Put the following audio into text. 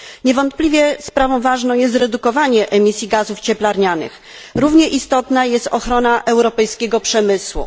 Niewątpliwie sprawą ważną jest redukowanie emisji gazów cieplarnianych, równie istotna jest ochrona europejskiego przemysłu.